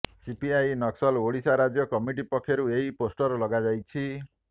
CPI Naxal Odisha ରାଜ୍ୟ committee ପକ୍ଷରୁ ଏହି ପୋଷ୍ଟର୍ ଲଗାଯାଇଛି